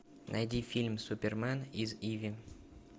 найди фильм супермен из иви